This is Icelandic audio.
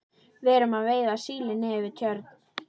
Við erum að veiða síli niður við Tjörn.